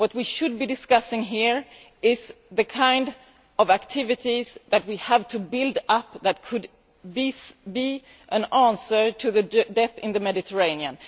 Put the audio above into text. What we should be discussing here is the kind of activities that we have to build up and which could be an answer to the deaths in the Mediterranean.